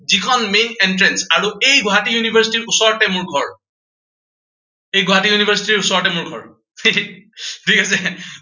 যিখন main entrance আৰু এই গুৱাহাটী university ৰ ওচৰতে মোৰ ঘৰ। এই গুৱাহাটী university ৰ ওচৰতে মোৰ ঘৰ, ঠিক আছে।